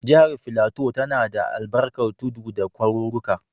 Jihar Filato tana da albarkar tudu da kwaruruka.